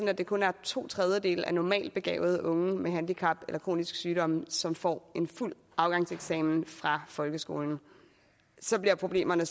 at det kun er to tredjedele af normaltbegavede unge med handicap eller kroniske sygdomme som får en fuld afgangseksamen fra folkeskolen og så bliver problemerne